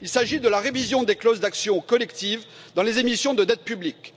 Il s'agit de la révision des clauses d'action collective dans les émissions de dette publique.